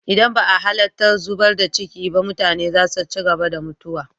Idan ba a halattar zubar da ciki ba, mutane za su ci gaba da mutuwa.